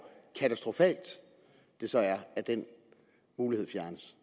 katastrofalt det så er at den mulighed fjernes